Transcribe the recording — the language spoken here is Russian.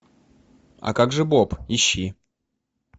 а как же боб ищи